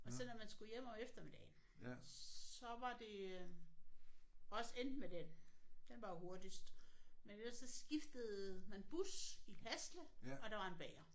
Og så når man skulle hjem om eftermiddagen så var det øh også enten med den. Den var jo hurtigst men ellers så skiftede man bus i Hasle og der var en bager